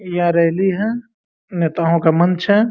यहां रैली है नेताओं का मंच है।